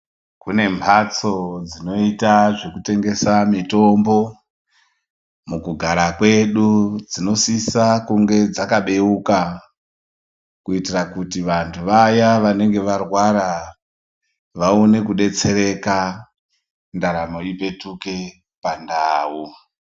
Kune mhatso dzinoita zvekutengesa mitombo mukugara kwedu, dzinosisa kunge dzakabeuka, kuitira kuti vanhu vaya vanenge varwara vaone kudetsereka ndaramo ipetuke pandau.